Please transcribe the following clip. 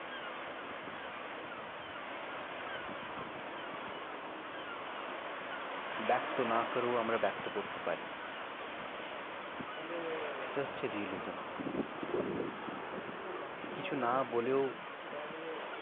ব্যক্ত না করেও আমরা ব্যক্ত করতে পরি। তালে সেটা হচ্ছ realism । ব্যক্ত না করেও কিছু না বলেও অনেক।